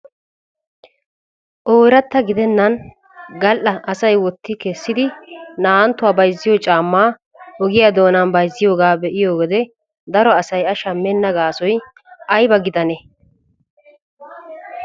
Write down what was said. Ooratta gidennan gal"a asay wotti kessidi naa"anttuwaa bayziyoo caammaa ogiyaa doonan bayzziyoogaa be'iyoo wode daro asay a shammenna gaasoy ayba gidanee?